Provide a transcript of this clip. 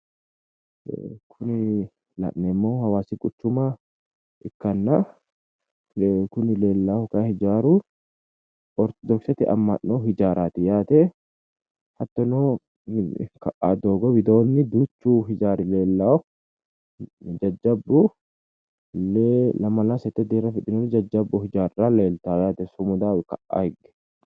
Kuni la'neemmohu hawaasi quchuma ikkana kuni leellahu kayi hijaaru ortodoksete ama'no hijaaraati yaate. Hattono ka'aanni doogo widoonni duuchu hijaari leellawo jajjabbu lee lamala sette deerra afidhinori jajjabbu hijaarra leeltawo yaate sumudaho ka'a higge.